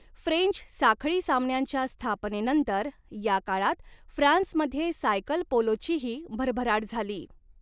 French साखळी सामन्यांच्या स्थापनेनंतर या काळात फ्रान्समध्ये सायकल पोलोचीही भरभराट झाली.